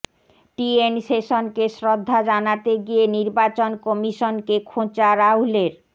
টি N শেষনকে শ্রদ্ধা জানাতে গিয়ে নির্বাচন কমিশনকে খোঁচা রাহুলের